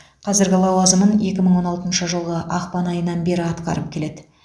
қазіргі лауазымын екі мың он алтыншы жылғы ақпан айынан бері атқарып келеді